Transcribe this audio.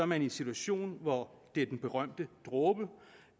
man i en situation hvor det er den berømte dråbe